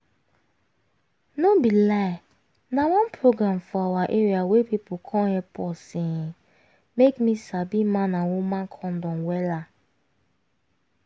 no be lie na one program for awa area wey pipu come epp us um make me sabi man and woman condom wella